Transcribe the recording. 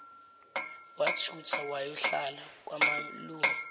wathutha wayohlala kwamalume